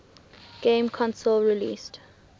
game console released